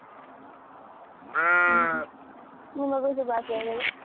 ಹ್ಮ್ ಹ್ಮ್ ನಿಮಗೂ ಶುಭಾಶಯಗಳು